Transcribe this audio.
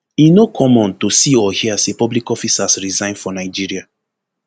e no common to see or hear say public officers resign for nigeria